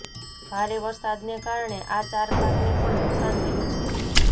ભારે વરસાદને કારણે આ ચાર પાકને પણ નુકસાન થયું છે